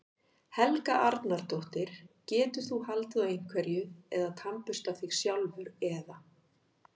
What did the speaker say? Helga Arnardóttir: Getur þú haldið á einhverju eða tannburstað þig sjálfur eða?